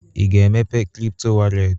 Ị ga-emepe kripto wọrlet?